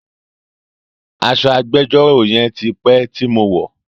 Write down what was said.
Aṣọ agbẹjọ́rò yẹn ti pé tí mo wọ̀ọ́.